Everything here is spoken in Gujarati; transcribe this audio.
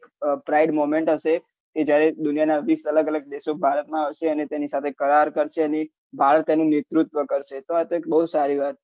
pride movement હશે કે જયારે દુનિયાના હૌથી અલગ અલગ દેશો ભારતમાં આવશે અને તેને સાથે કરાર કરશે અને ભારત તેનું નેતૃત્વ કરશે તો આ એક બહુ જ સારી વાત છે